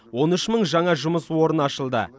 он үш мың жаңа жұмыс орны ашылды